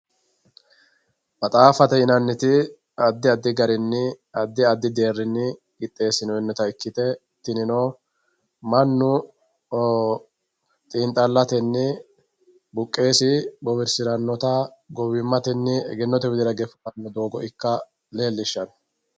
Maxaafate yinaniti adi adi danini adi adi deerini qixesinonita ikite tinino manu xiinxalateni buqeesi bowirsiranota gowimateni egenote widira harano doogo ika leelishano.